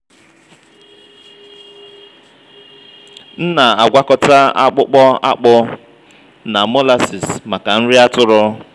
m na-agwakọta akpụkpọ akpụ na molasses maka nri atụrụ.